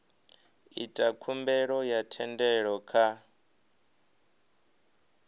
ita khumbelo ya thendelo kha